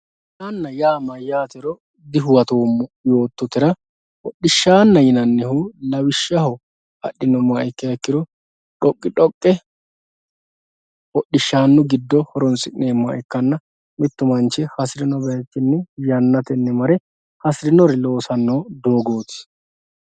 Hodhishana ya mayatero duhuwato yototera hodhishana yinanihu lawishaho adhinumoha ikiha ikiro dhoqidhoqe hodhishanu gido horosinemoha ikana mittu manchi hasirino bayichini yanateeni mare asirinowa losano dogoti